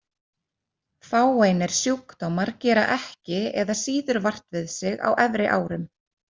Fáeinir sjúkdómar gera ekki eða síður vart við sig á efri árum.